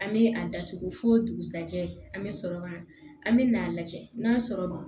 An bɛ a datugu fo dugusɛjɛ an bɛ sɔrɔ ka na an bɛ na a lajɛ n'a sɔrɔ ma